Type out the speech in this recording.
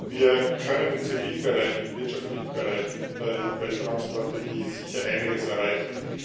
Wir können im zivilen Bereich, im wirtschaftlichen Bereich mit der EU Weltraumstrategie sicher einiges erreichen.